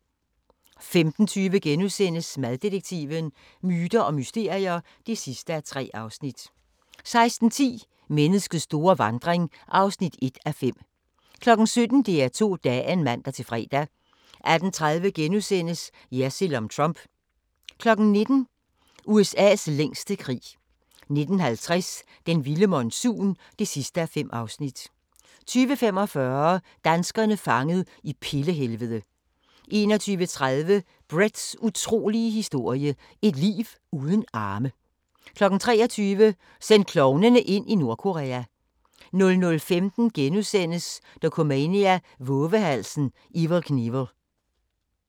15:20: Maddetektiven: Myter og mysterier (3:3)* 16:10: Menneskets store vandring (1:5) 17:00: DR2 Dagen (man-fre) 18:30: Jersild om Trump * 19:00: USA's længste krig 19:50: Den vilde monsun (5:5) 20:45: Danskere fanget i pille-helvede 21:30: Bretts utrolige historie – et liv uden arme 23:00: Send klovnene ind i Nordkorea 00:15: Dokumania: Vovehalsen Evel Knievel *